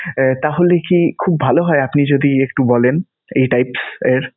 আহ তাহলে কি খুব ভালো হয়, আপনি যদি একটু বলেন এই type এর?